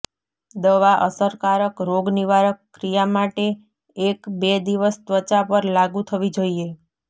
દવા અસરકારક રોગનિવારક ક્રિયા માટે એક બે દિવસ ત્વચા પર લાગુ થવી જોઈએ